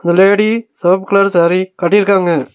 ஒரு லேடி செவப்பு கலர் சாரி கட்டிருகாங்க.